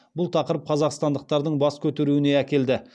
бұл тақырып қазақстандықтардың бас көтеруіне әкелді